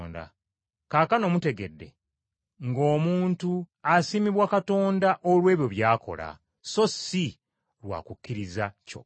Kaakano mutegedde ng’omuntu asiimibwa Katonda olw’ebyo by’akola, so si lwa kukkiriza kyokka.